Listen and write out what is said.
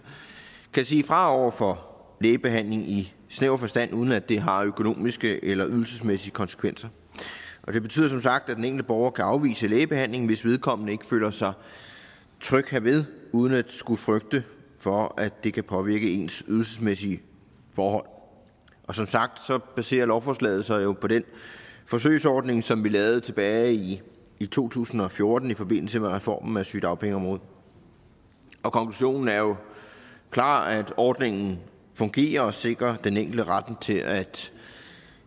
kan sige fra over for lægebehandling i snæver forstand uden at det har økonomiske eller ydelsesmæssige konsekvenser det betyder som sagt at den enkelte borger kan afvise lægebehandling hvis vedkommende ikke føler sig tryg ved det uden at skulle frygte for at det kan påvirke ens ydelsesmæssige forhold og som sagt baserer lovforslaget sig jo på den forsøgsordning som vi lavede tilbage i i to tusind og fjorten i forbindelse med reformen af sygedagpengeområdet konklusionerne er jo klare ordningen fungerer og sikrer den enkelte retten til at